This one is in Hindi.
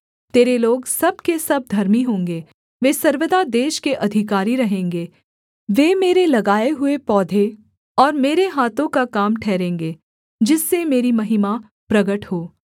तेरे लोग सब के सब धर्मी होंगे वे सर्वदा देश के अधिकारी रहेंगे वे मेरे लगाए हुए पौधे और मेरे हाथों का काम ठहरेंगे जिससे मेरी महिमा प्रगट हो